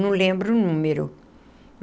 Não lembro o número.